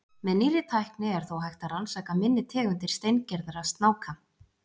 Með nýrri tækni er þó hægt að rannsaka minni tegundir steingerðra snáka.